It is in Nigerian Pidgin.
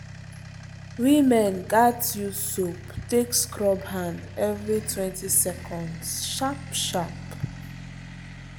women gats use soap take scrub hand everytwentyseconds sharp sharp.